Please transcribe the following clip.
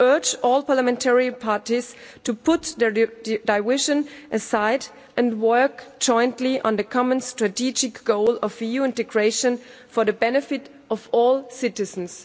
We urge all parliamentary parties to put their divisions aside and work jointly on the common strategic goal of EU integration for the benefit of all citizens.